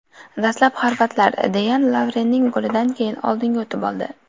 Dastlab xorvatlar Deyan Lovrenning golidan keyin oldinga o‘tib oldi.